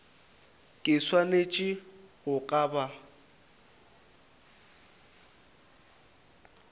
ke swanetše go ka ba